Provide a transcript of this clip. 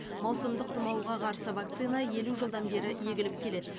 маусымдық тұмауға қарсы вакцина елу жылдан бері егіліп келеді